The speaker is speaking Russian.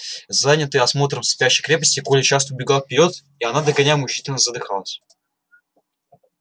занятый осмотром спящей крепости коля часто убегал вперёд и она догоняя мучительно задыхалась